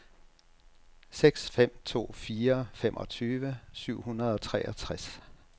seks fem to fire femogtyve syv hundrede og treogtres